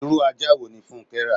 Irú ajá wo ní funke rà?